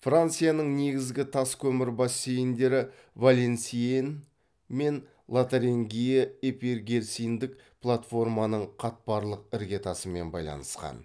францияның негізгі тас көмір бассейндері валансьенн мен лотарингия эпигерциндік платформаның қатпарлық іргетасымен байланысқан